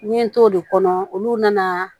N ye n t'o de kɔnɔ olu nana